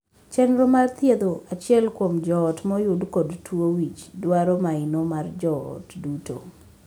Chenro mar thiedho achiel kuom joot moyud kod tuo wich dwaro maino mar joot duto.